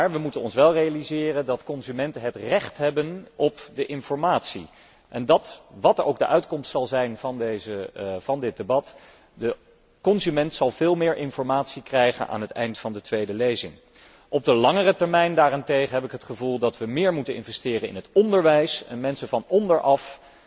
We moeten ons wel realiseren dat de consumenten het recht hebben op de informatie. En wat ook de uitkomst mag zijn van dit debat, de consument zal veel meer informatie krijgen aan het eind van de tweede lezing. Op de langere termijn daarentegen moeten we meer investeren in het onderwijs en mensen van onderaf